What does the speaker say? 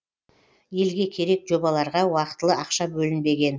елге керек жобаларға уақытылы ақша бөлінбеген